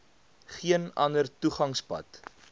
geen ander toegangspad